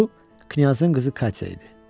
Bu Knyazın qızı Katya idi.